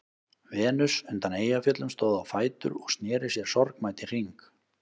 Venus undan Eyjafjöllum stóð á fætur og sneri sér sorgmædd í hring.